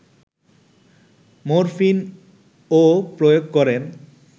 morphine ও প্রয়োগ করেন